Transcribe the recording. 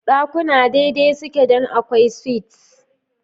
Dakuna daidai suke don akwai suites.